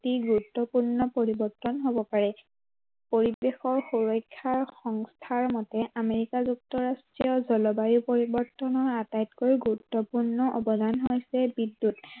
অতি গুৰুত্বপূৰ্ণ পৰিৱৰ্তন হ'ব পাৰে। পৰিৱেশৰ সুৰক্ষাৰ সংস্থাৰ মতে আমেৰিকাৰ যুক্তৰাষ্ট্ৰীয় জলবায়ু পৰিৱৰ্তনৰ আটাইতকৈ গুৰুত্বপূৰ্ণ অৱদান হৈছে বিদ্য়ুৎ